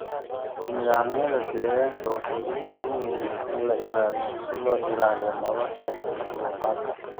Nidaamyada deegaanka waxay u baahan yihiin in la ilaaliyo si loo ilaaliyo nolosha makhluuqaadka.